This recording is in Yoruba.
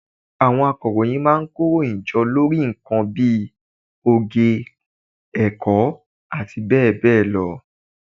Àwọn akọ̀ròyìn má a nkó ìròyìn jọ lórí nkan bí i oge, èkó àti béè béè lo